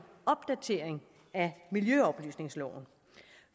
opdatering af miljøoplysningsloven